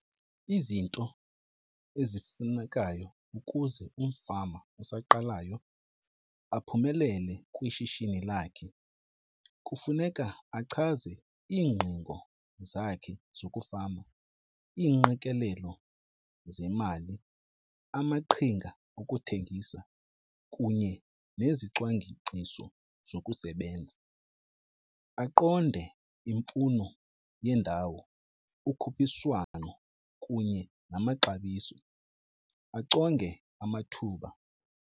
Izinto ezifunekayo ukuze umfama osaqalayo aphumelele kwishishini lakhe kufuneka achaze iingqingo zakhe zokufama, iinqikelelo zemali, amaqhinga okuthengisa kunye nezicwangciso zokusebenza. Aqonde imfuno yendawo, ukhuphiswano kunye namaxabiso. Achonge amathuba.